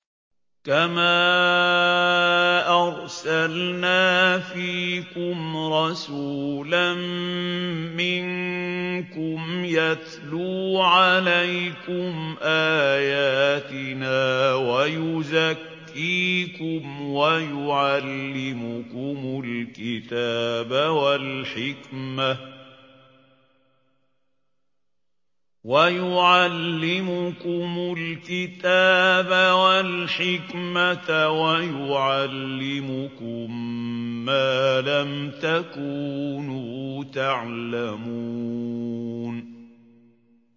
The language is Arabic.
كَمَا أَرْسَلْنَا فِيكُمْ رَسُولًا مِّنكُمْ يَتْلُو عَلَيْكُمْ آيَاتِنَا وَيُزَكِّيكُمْ وَيُعَلِّمُكُمُ الْكِتَابَ وَالْحِكْمَةَ وَيُعَلِّمُكُم مَّا لَمْ تَكُونُوا تَعْلَمُونَ